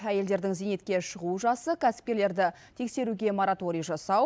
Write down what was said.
әйелдердің зейнетке шығу жасы кәсіпкерлерді тексеруге мораторий жасау